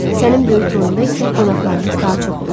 Sənin böyük toyunda isə qonaqlarımız daha çox olacaq.